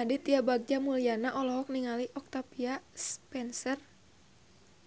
Aditya Bagja Mulyana olohok ningali Octavia Spencer